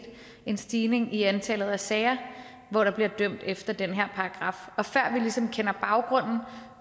en stigning i antallet af sager hvor der bliver dømt efter den her paragraf og før vi ligesom kender baggrunden